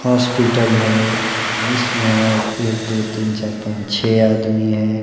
Hospital है इसमें एक दो तीन चार पाच छे आदमी है।